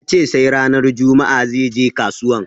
Yace sai ranar juma'a zai je kasuwan